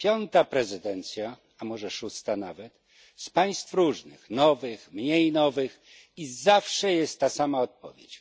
Piąta prezydencja a może szósta nawet z państw różnych, nowych, mniej nowych, i zawsze jest ta sama odpowiedź.